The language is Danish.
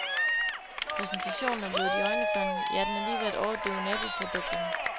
Præsentationen er blevet iøjnefaldende, ja den er lige ved at overdøve naboprodukterne.